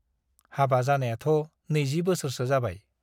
हाबा जानायाथ' 20 बोसोरसो जाबाय ।